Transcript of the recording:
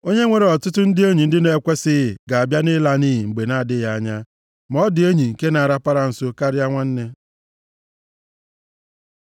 Onye nwere ọtụtụ ndị enyi ndị na-ekwesighị ga-abịa nʼịla nʼiyi mgbe na-adịghị anya, ma ọ dị enyi nke na-arapara nso karịa nwanne.